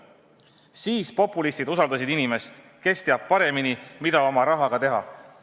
Siis populistid usaldasid inimest, kes teab paremini, mida oma rahaga teha.